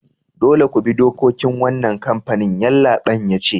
Dolle ku bi dokokin wanan kampanin! Yallabain ya ce.